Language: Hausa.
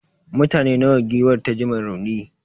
mutane nawa giwar ta ji ma rauni?